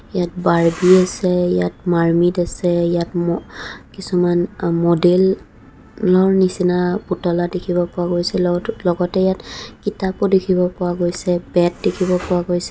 ইয়াত বাৰ্বি আছে ইয়াত মাৰ্মিদ আছে ইয়াত ম্ কিছু আ মদেল ৰ নিচিনা পুতলা দেখিব পোৱা গৈছে লগতে ইয়াত কিতাপো দেখিব পোৱা গৈছে বেট দেখিব পোৱা গৈছে.